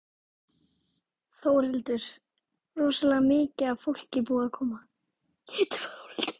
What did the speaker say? Þórhildur: Rosalega mikið af fólki búið að koma?